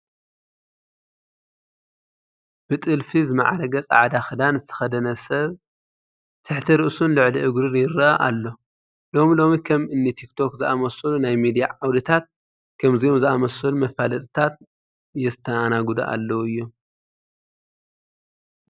ብጥልፊ ዝማዕረገ ፃዕዳ ክዳን ዝተኸደነ ሰብ ትሕቲ ርእሱን ልዕሊ እግሩን ይርአ ኣሎ፡፡ ሎሚ ሎሚ ከም እኒ ቲክቶክ ዝኣምሰሉ ናይ ሚድያ ዓውድታት ከምዚኦም ዝኣምሰሉ መፋለጥታት የስተኣናግዱ ኣለዉ እዮም፡፡